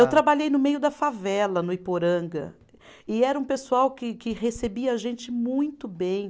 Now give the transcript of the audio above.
Eu trabalhei no meio da favela, no Iporanga, e era um pessoal que que recebia a gente muito bem.